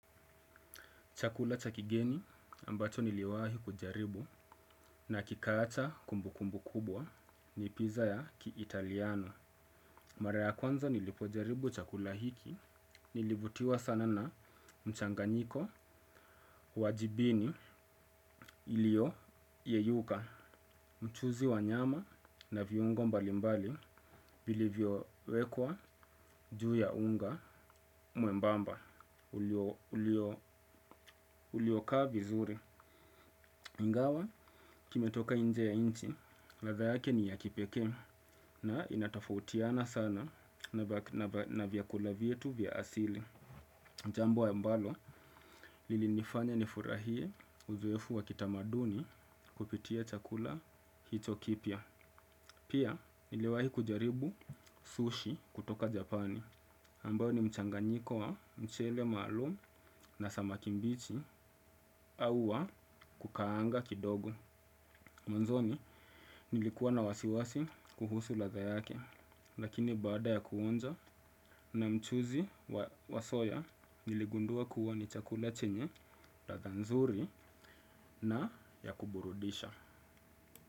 Chakula cha kigeni ambacho niliwahi kujaribu na kikaacha kumbukumbu kubwa ni pizza ya kiitaliano. Mara ya kwanza nilipojaribu chakula hiki nilivutiwa sana na mchanganyiko wa jibini ilio yeyuka mchuzi wa nyama na viungo mbali mbali vilivyo wekwa juu ya unga mwembamba uliokaa vizuri. Ingawa, kimetoka nje ya nchi, ladha yake ni ya kipekee na inatofautiana sana na vyakula vyetu vya asili. Jambo ambalo, lilinifanya nifurahie uzoefu wa kitamaduni kupitia chakula hicho kipya. Pia, niliwahi kujaribu sushi kutoka Japani. Ambayo ni mchanganyiko wa mchele maalum na samaki mbichi au wa kukaanga kidogo. Mwanzoni nilikuwa na wasiwasi kuhusu ladha yake, lakini baada ya kuonja na mchuzi wa soya niligundua kuwa ni chakula chenye, ladha nzuri na ya kuburudisha.